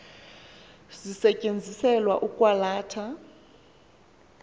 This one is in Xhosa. zisetyenziselwa ukwa latha